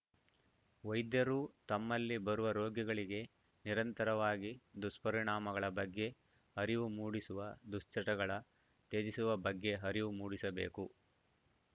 ವೈದ್ಯರೂ ತಮ್ಮಲ್ಲಿ ಬರುವ ರೋಗಿಗಳಿಗೆ ನಿರಂತರವಾಗಿ ದುಷ್ಪರಿಣಾಮಗಳ ಬಗ್ಗೆ ಅರಿವು ಮೂಡಿಸುವ ದುಶ್ಚಟಗಳ ತ್ಯಜಿಸುವ ಬಗ್ಗೆ ಅರಿವು ಮೂಡಿಸಬೇಕು